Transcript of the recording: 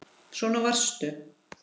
Svona varstu.